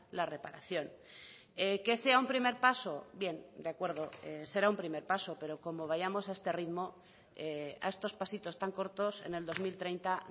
la reparación que sea un primer paso bien de acuerdo será un primer paso pero como vayamos a este ritmo a estos pasitos tan cortos en el dos mil treinta